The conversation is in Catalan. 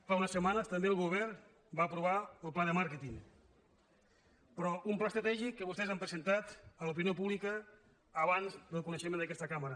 fa unes setmanes també el govern va aprovar el pla de màrqueting però un pla estratègic que vostès han presentat a l’opinió pública abans que el coneguem en aquesta cambra